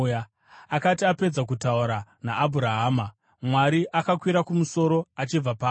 Akati apedza kutaura naAbhurahama, Mwari akakwira kumusoro achibva paari.